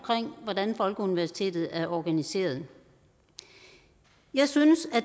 hvordan folkeuniversitetet er organiseret jeg synes at